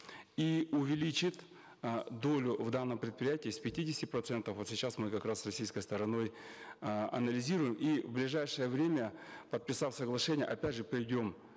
и увеличит э долю в данном предприятии с пятидесяти процентов вот сейчас мы как раз с российской стороной э анализируем и в ближайшее время подписав соглашение опять же придем